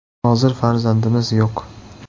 Hozir farzandimiz yo‘q.